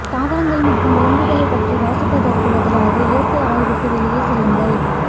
தாவரங்கள் மற்றும் விலங்குகளைப் பற்றி வாசிப்பதற்குப் பதிலாக இயற்கை ஆய்வுக்கு வெளியே செல்லுங்கள்